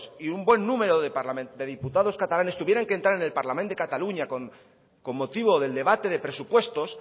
y un buen número de diputados catalanes tuvieran que entrar en el parlament de cataluña con motivo del debate de presupuestos